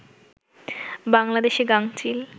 বাংলাদেশে গাঙচিল